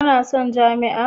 Kana son jami'a?